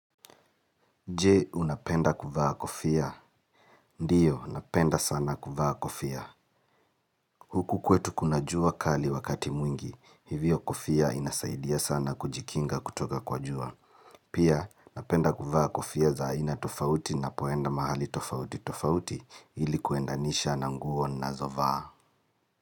Je, unapenda kuvaa kofia? Ndiyo, napenda sana kuvaa kofia. Huku kwetu kuna jua kali wakati mwingi, hivyo kofia inasaidia sana kujikinga kutoka kwa jua. Pia, napenda kuvaa kofia za aina tofauti ninapoenda mahali tofauti tofauti ili kuendanisha na nguo ninazovaa.